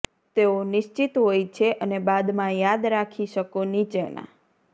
તેઓ નિશ્ચિત હોય છે અને બાદમાં યાદ રાખી શકો નીચેના